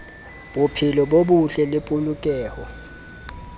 bophelo bo botle le polokeho